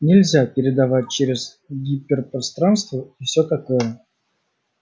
нельзя передавать через гиперпространство и все такое